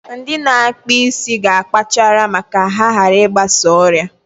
Ndị na-akpụ isi ga akpachara ma ka ha hara I gbasa ọrịa.